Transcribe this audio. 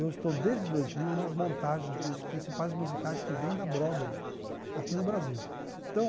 Eu estou, desde dois mil, nas montagens dos principais musicais que vêm da Broadway, aqui no Brasil então